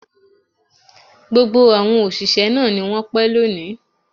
Gbogbo àwọn òṣìṣẹ́ náà ni wọ́n pẹ́ lónìí